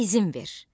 İzin ver.